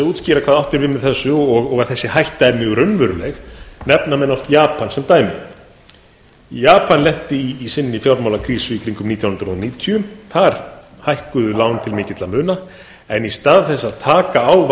útskýra hvað átt er við með þessu og að þessi hætta er mjög raunveruleg nefna menn oft japan sem dæmi japan lenti í sinni fjármálakrísu nítján hundruð níutíu þar hækkuðu lán til mikilla muna en í stað þess að taka á vandanum